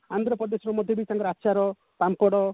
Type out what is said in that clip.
ଆନ୍ଧ୍ରପ୍ରଦେଶରେ ମଧ୍ୟ ବି ତାଙ୍କର ଆଚାର ପାମ୍ପଡ